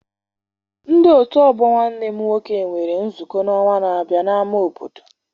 Ndi otu ọgbọ nwanne m nwoke nwere nzukọ n'ọnwa n'abia n'ama obodo.